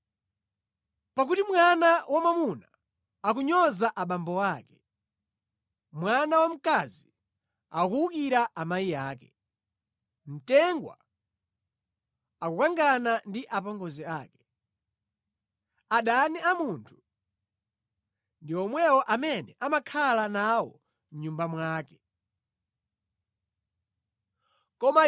Pakuti mwana wamwamuna akunyoza abambo ake, mwana wamkazi akuwukira amayi ake, mtengwa akukangana ndi apongozi ake, adani a munthu ndi amene amakhala nawo mʼbanja mwake momwe.